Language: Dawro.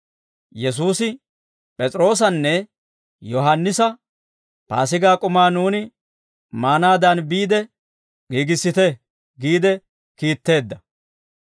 Yesuusi P'es'iroosanne Yohaannisa, «Paasigaa k'umaa nuuni maanaadan biide giigissite» giide kiitteedda.